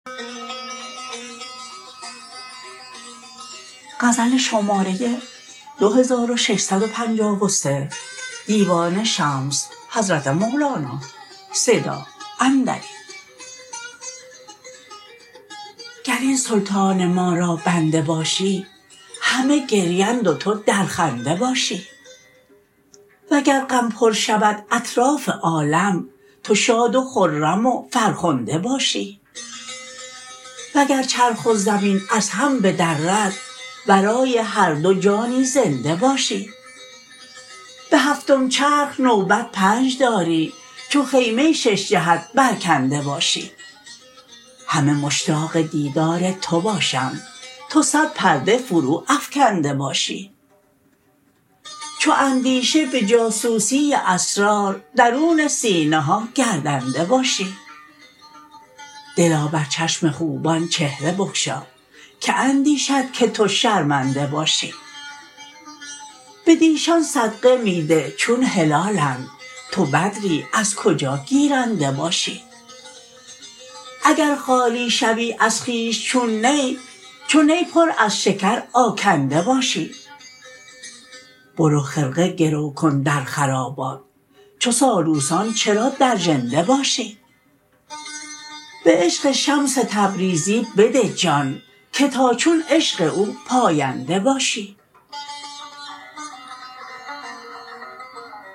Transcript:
گر این سلطان ما را بنده باشی همه گریند و تو در خنده باشی وگر غم پر شود اطراف عالم تو شاد و خرم و فرخنده باشی وگر چرخ و زمین از هم بدرد ورای هر دو جانی زنده باشی به هفتم چرخ نوبت پنج داری چو خیمه شش جهت برکنده باشی همه مشتاق دیدار تو باشند تو صد پرده فروافکنده باشی چو اندیشه به جاسوسی اسرار درون سینه ها گردنده باشی دلا بر چشم خوبان چهره بگشا که اندیشد که تو شرمنده باشی بدیشان صدقه می ده چون هلالند تو بدری از کجا گیرنده باشی اگر خالی شوی از خویش چون نی چو نی پر از شکر آکنده باشی برو خرقه گرو کن در خرابات چو سالوسان چرا در ژنده باشی به عشق شمس تبریزی بده جان که تا چون عشق او پاینده باشی